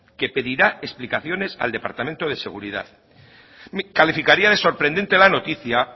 que pedirá explicaciones al departamento de seguridad calificaría de sorprendente la noticia